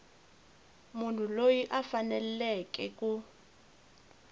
munhu loyi a faneleke ku